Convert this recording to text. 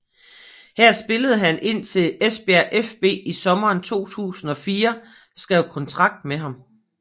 Her spillede han indtil Esbjerg fB i sommeren 2004 skrev kontrakt med ham